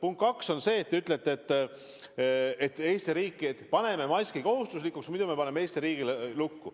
Punkt kaks on see, et te ütlete, et teeme maski kohustuslikuks, muidu paneme Eesti riigi lukku.